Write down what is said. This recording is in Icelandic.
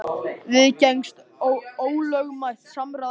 Viðgengst ólögmætt samráð enn í dag?